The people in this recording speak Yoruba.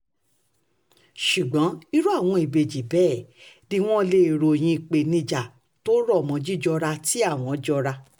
ṣùgbọ́n irú àwọn ìbejì bẹ́ẹ̀ ni wọ́n lè um ròyìn àwọn ìpèníjà tó rọ̀ mọ́ jíjọra tí àwọn jọra um